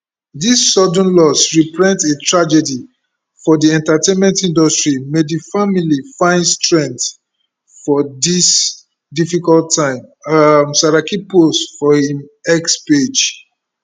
dis sudden loss repreent a tragedy for di entertainment industry may di family fin strength for dis difficult time um saraki post for im x page